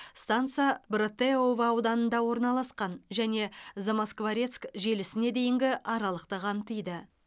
станса братеево ауданында орналасқан және замоскворецк желісіне дейінгі аралықты қамтиды